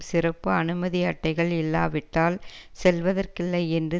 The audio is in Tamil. சிறப்பு அனுமதி அட்டைகள் இல்லாவிட்டால் செல்வதற்கில்லை என்று